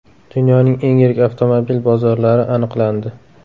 Dunyoning eng yirik avtomobil bozorlari aniqlandi.